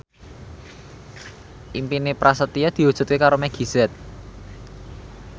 impine Prasetyo diwujudke karo Meggie Z